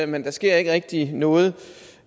men der sker ikke rigtig noget